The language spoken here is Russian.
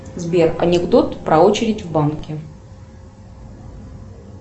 сбер анекдот про очередь в банке